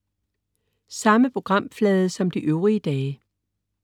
Samme programflade som de øvrige dage